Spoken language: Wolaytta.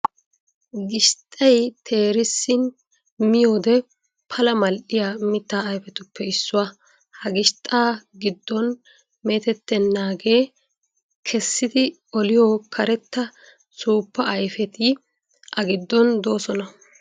Gishxxay teerissin miyoodee pala mal'iya mitta ayifetuppe issuwa. Ha gishxxaa giddon meetettennaagee kessidi oliyo karetta suuppay ayifeti a giddon doosona.